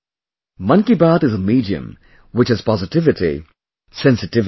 Mann Ki Baat is a medium which has positivity, sensitivity